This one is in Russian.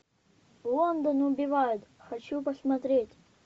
лондон убивает хочу посмотреть